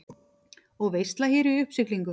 Og veisla hér í uppsiglingu.